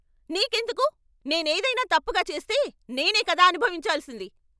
నీకెందుకు? నేనేదైనా తప్పుగా చేస్తే నేనే కదా అనుభవించాల్సింది.